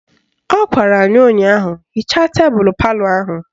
Ọ gwara ya ụnyaahụ " Hichaa tebelu palọ ahụ"!